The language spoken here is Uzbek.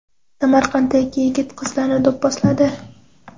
Samarqandda ikki yigit qizlarni do‘pposladi.